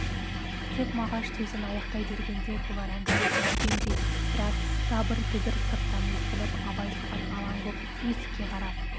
тек мағаш сөзін аяқтай бергенде бұлар әңгімесін үзгендей біраз дабыр-дүбір сырттан естіліп абай соған алаң боп есікке қарап